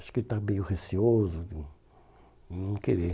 Acho que ele está meio receoso, de de não querer.